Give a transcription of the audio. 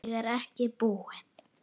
Ég er ekki búinn.